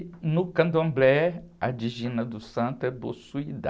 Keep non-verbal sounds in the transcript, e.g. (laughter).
No candomblé, a dijina do santo é. (unintelligible)